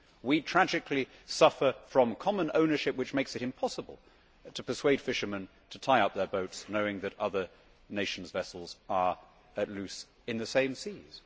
We tragically suffer from common ownership which makes it impossible to persuade fishermen to tie up their boats knowing that other nations' vessels are at large in the same seas.